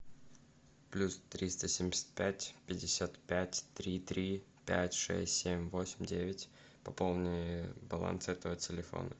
плюс триста семьдесят пять пятьдесят пять три три пять шесть семь восемь девять пополни баланс этого телефона